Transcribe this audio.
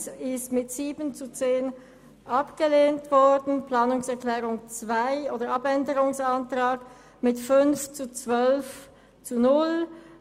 Ich erteile zuerst der FiKo-Minderheit das Wort, dann Grossrat Wyrsch für den SP-JUSO-PSA-Antrag 2 und danach Grossrat Knutti für die beiden SVP-Anträge 3 und 4.